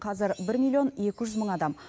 қазір бір миллион екі жүз мың адам